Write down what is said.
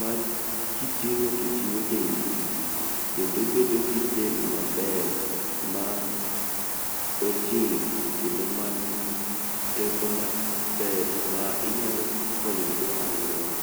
makiting'o to jiwo dendi kendo ibedo gi del maber ma ojing' kendo man gi teko maber ma inyalo konyogo aluora.